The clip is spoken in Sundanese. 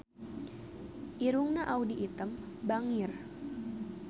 Irungna Audy Item bangir